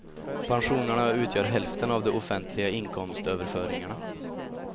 Pensionerna utgör hälften av de offentliga inkomstöverföringarna.